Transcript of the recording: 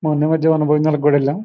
మొన్న ఏ మధ్య భోజనాలకు కూడా వెళ్ళాం.